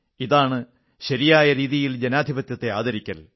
ഇതാണ് ശരിയായ രീതിയിൽ ജനാധിപത്യത്തെ ആദരിക്കൽ